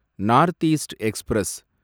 north east express